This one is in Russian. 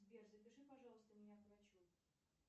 сбер запиши пожалуйста меня к врачу